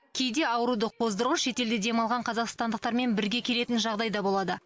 кейде ауруды қоздырғыш шетелде демалған қазақстандықтармен бірге келетін жағдай да болады